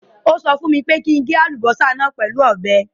Ó sọ fún mi kí n gé àlùbọ́sà náà pẹ̀lú ọ̀bẹ.